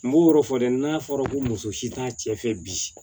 N b'o yɔrɔ fɔ dɛ n'a fɔra ko muso si t'a cɛ fɛ bi